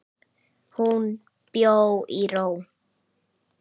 Hún bjó í ró.